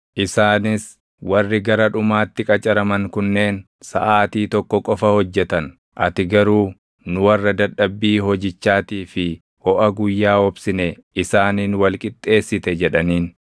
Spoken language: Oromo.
Isaanis, ‘Warri gara dhumaatti qacaraman kunneen saʼaatii tokko qofa hojjetan; ati garuu nu warra dadhabbii hojichaatii fi hoʼa guyyaa obsine isaaniin wal qixxeessite’ jedhaniin.